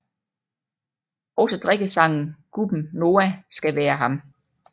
Også drikkesangen Gubben Noah skal være af ham